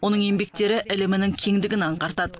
оның еңбектері ілімінің кеңдігін аңғартады